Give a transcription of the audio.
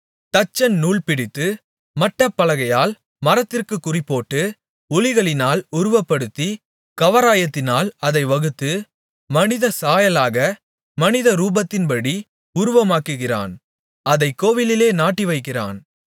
தச்சன் நூல்பிடித்து மட்டப்பலகையால் மரத்திற்குக் குறிபோட்டு உளிகளினால் உருப்படுத்தி கவராயத்தினால் அதை வகுத்து மனித சாயலாக மனிதரூபத்தின்படி உருவமாக்குகிறான் அதைக் கோவிலிலே நாட்டிவைக்கிறான்